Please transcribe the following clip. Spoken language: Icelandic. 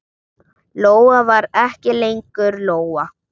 Lóa var ekki lengur Lóa.